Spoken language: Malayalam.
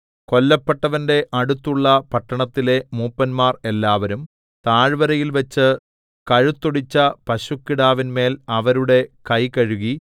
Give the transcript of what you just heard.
കൊല്ലപ്പെട്ടവന്റെ അടുത്തുള്ള പട്ടണത്തിലെ മൂപ്പന്മാർ എല്ലാവരും താഴ്വരയിൽവച്ച് കഴുത്തൊടിച്ച പശുക്കിടാവിന്മേൽ അവരുടെ കൈ കഴുകി